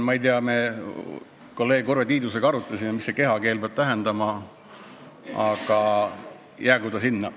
Ma ei tea, me kolleeg Urve Tiidusega arutasime, mida see kehakeele jutt peab tähendama, aga jäägu ta sinna.